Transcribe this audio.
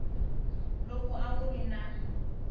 lowu a wu ri na